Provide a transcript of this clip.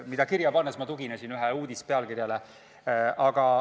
Seda kirja pannes ma tuginesin ühe uudise pealkirjale.